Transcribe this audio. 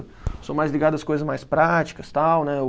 Eu sou mais ligado às coisas mais práticas tal, né? O